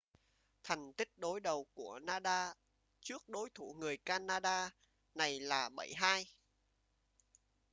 thành tích đối đầu của nadal trước đối thủ người canada này là 7-2